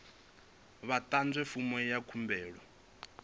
vha ḓadze fomo ya khumbelo